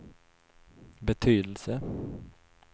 betydelse